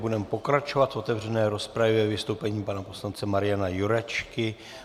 Budeme pokračovat v otevřené rozpravě vystoupením pana poslance Mariana Jurečky.